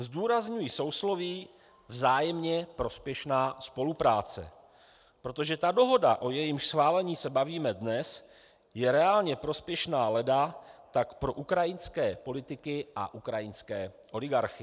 Zdůrazňuji sousloví vzájemně prospěšná spolupráce, protože ta dohoda, o jejímž schválení se bavíme dnes, je reálně prospěšná leda tak pro ukrajinské politiky a ukrajinské oligarchy.